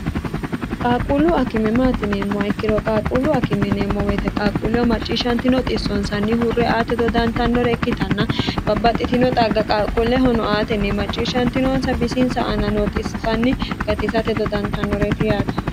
qaaquullu akime maatineemmoa ikkiro qaaqquullu akimeneemmo woyite qaaquulleho macciishshantino xissonsanni hurre aate dodantannore ikkitanna babbaxxitino xagga qaaqquullehono aatenni macciishshantinoonsa bisinsa ana noo xibanni gatisate dodantannoreti yaate